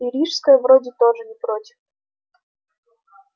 и рижская вроде тоже не против